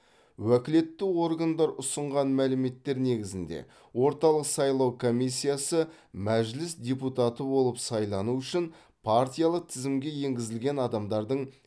уәкілетті органдар ұсынған мәліметтер негізінде орталық сайлау комиссиясы мәжіліс депутаты болып сайлану үшін партиялық тізімге енгізілген адамдардың